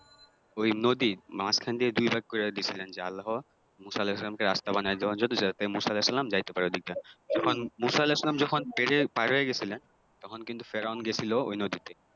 ওই নদীর মাঝখান দিয়ে দুইভাগ করে দিয়েছিলে যে আল্লাহ মুসা আলাহিসাল্লাম কে রাস্তা বানায় দিলেন যাতে মুসা আলাহিসাল্লাম যাইতে পারে ঐদিক দিয়া তখন মুসা আলাহিসাল্লাম যখন পেরিয়ে পার হয়ে গেছিলেন তখন কিন্তু ফেরাউন গেছিলো ওই নদীতে